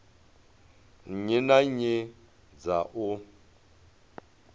nnyi na nnyi dza u